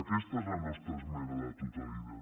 aquesta és la nostra esmena a la totalitat